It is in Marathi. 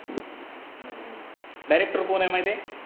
director कोण आहे माहिती आहे?